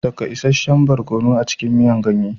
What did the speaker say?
Saka isasshen barkono a cikin miya kayan ganye